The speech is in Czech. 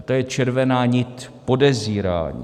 A to je červená nit podezírání.